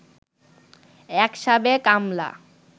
এক সাবেক আমলা